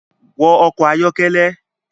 Wọ ọkọ ayọkẹlẹ